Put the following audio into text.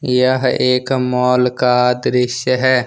यह एक मॉल का दृश्य है।